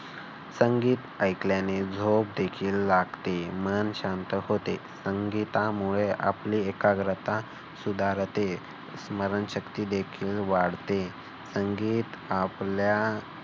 संगीत ऐकल्याने झोप देखील लागते. मन शांत होते. संगीतामुळे आपली एकाग्रता सुधारते. स्मरणशक्ती देखील वाढते. संगीत आपल्या